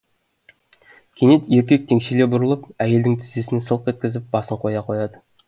кенет еркек теңселе бұрылып әйелдің тізесіне сылқ еткізіп басын қоя қояды